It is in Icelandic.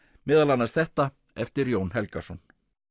meðal annars þetta eftir Jón Helgason